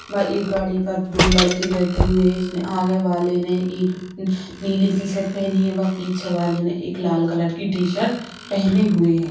एक गाडी पर दो लड़के बैठे हुए हैं आगे वाले ने एक नीली टीशर्ट पहनी है व पीछे वाले ने एक लाल कलर की टीशर्ट पहने हुए हैं।